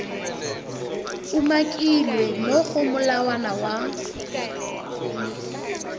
umakilweng mo go molawana wa